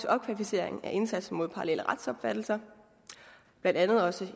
opkvalificeringen af indsatsen mod parallelle retsopfattelser blandt andet også